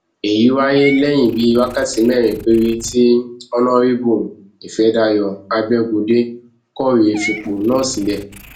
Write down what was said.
èyí wáyé lẹyìn bíi wákàtí mẹrin péré tí ọnàrẹbù ìfẹdàyò abẹgundé kọwé fipò náà sílẹ